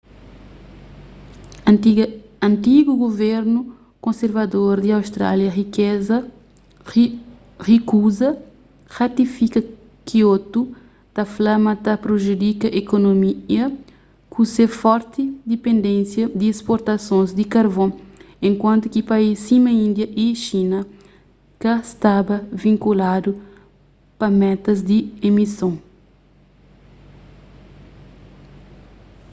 antigu guvernu konservador di austrália rikuza ratifika kiotu ta fla ma ta prejudika ekonomia ku se forti dipendénisa di sportasons di karvon enkuantu ki país sima india y xina ka staba vinkuladu pa metas di emison